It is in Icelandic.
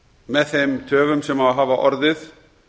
með þeim töfum sem hafa orðið